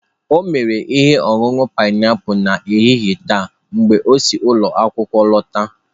O mere ihe ọṅụṅụ painiapulu n'ehihie taa mgbe o si ụlọ akwụkwọ lọta.